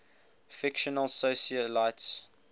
fictional socialites